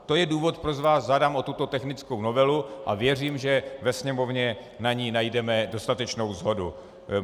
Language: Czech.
To je důvod, proč vás žádám o tuto technickou novelu, a věřím, že ve Sněmovně na ní najdeme dostatečnou shodu.